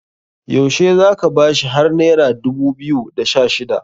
yaushe za ka bashi har naira dubu biyu da Sha shida